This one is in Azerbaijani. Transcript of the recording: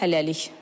Hələlik.